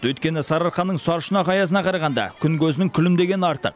өйткені сарыарқаның сарышұнақ аязына қарағанда күн көзінің күлімдегені артық